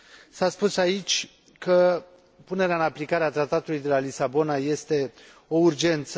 S a spus aici că punerea în aplicare a Tratatului de la Lisabona este o urgență.